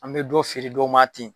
An bɛ don feere dɔ ma ten.